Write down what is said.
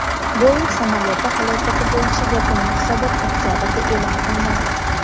Boeing samolyoti halokati bo‘yicha yakuniy hisobot oktabrda e’lon qilinadi.